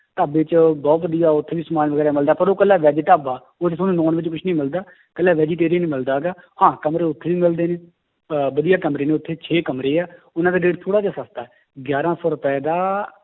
ਢਾਬਾ 'ਚ ਬਹੁਤ ਵਧੀਆ ਉੱਥੇ ਵੀ ਸਮਾਨ ਵਗ਼ੈਰਾ ਮਿਲਦਾ ਪਰ ਉਹ ਇੱਕਲਾ veg ਢਾਬਾ, ਉਹ 'ਚ ਤੁਹਾਨੂੰ non veg ਕੁਛ ਨੀ ਮਿਲਦਾ, ਇਕੱਲਾ vegetarian ਹੀ ਮਿਲਦਾ ਗਾ, ਹਾਂ ਕਮਰੇ ਉੱਥੇ ਵੀ ਮਿਲਦੇ ਨੇ ਅਹ ਵਧੀਆ ਕਮਰੇ ਨੇ ਉੱਥੇ ਛੇ ਕਮਰੇ ਆ, ਉਹਨਾਂ ਦਾ rate ਥੋੜ੍ਹਾ ਜਿਹਾ ਸਸਤਾ ਹੈ ਗਿਆਰਾਂ ਸੌ ਰੁਪਏ ਦਾ